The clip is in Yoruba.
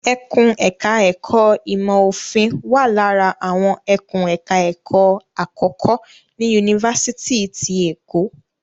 Ẹkùn ẹ̀ka ẹ̀kó ìmọ̀ òfin wà lára àwọn ẹkùn ẹ̀ka ẹ̀kó àkọ́kọ́ ní Yunifásitì ti Èkó.